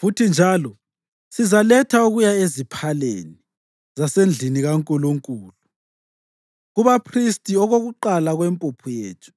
Futhi njalo, sizaletha okuya eziphaleni zasendlini kaNkulunkulu, kubaphristi, okokuqala kwempuphu yethu,